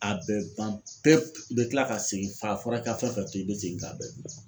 A bɛɛ ban pewu, i bɛ kila ka segin , a fɔra k'i ka fɛn o fɛn to yen, i be segin k'a bɛɛ dun.